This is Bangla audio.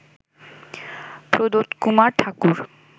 প্রদোতকুমার ঠাকুর